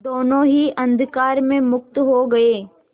दोेनों ही अंधकार में मुक्त हो गए